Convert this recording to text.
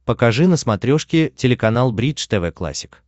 покажи на смотрешке телеканал бридж тв классик